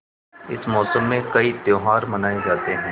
इस मौसम में कई त्यौहार मनाये जाते हैं